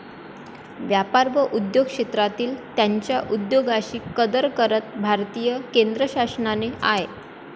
व्यापार व उद्योग क्षेत्रांतील त्यांच्या उद्योगाशी कदर करत भारतीय केंद्रशासनाने आय.